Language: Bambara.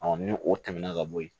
ni o tɛmɛna ka bɔ yen